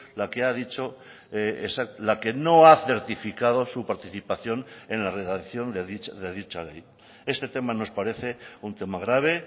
la que ha dicho la que no ha certificado su participación en la redacción de dicha ley este tema nos parece un tema grave